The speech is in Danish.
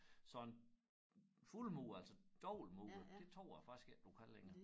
Sådan fuldmuret altså dobbeltmuret det tror jeg faktisk ikke du kan længere